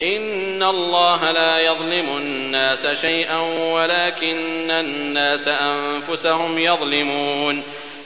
إِنَّ اللَّهَ لَا يَظْلِمُ النَّاسَ شَيْئًا وَلَٰكِنَّ النَّاسَ أَنفُسَهُمْ يَظْلِمُونَ